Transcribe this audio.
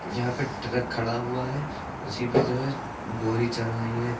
यहां पे ट्रक खड़ा हुआ है उसी पे जो है बोरी चढ़ रही है।